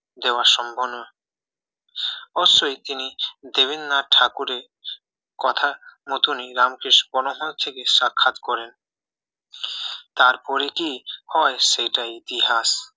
দেওয়া সম্ভব না অবশ্যই তিনি দেবেন্দ্রনাথ ঠাকুরের কথা মতনই রামকৃষ্ণ পরমহংসের সাথে সাক্ষাৎ করেন তারপরে কি হয় সেটাই ইতিহাস